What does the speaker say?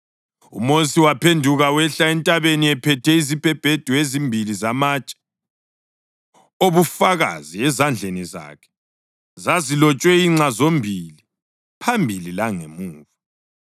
UMosi waphenduka wehla entabeni ephethe izibhebhedu ezimbili zamatshe obufakazi ezandleni zakhe. Zazilotshwe inxa zombili, phambili langemuva.